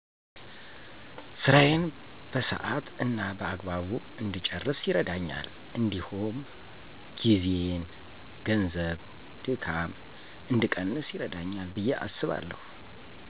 ስራየን በሰሀት እና በአግባቡ እድጨረስ ይርደኛል እዲሁም ጊዜ፣ ገንዘብ፣ ድካም እድቀንስ ይረዳኛል። ብየ አስባለሁ።